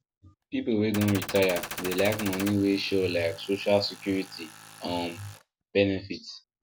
people wey don retire dey like money wey sure like social security um benefit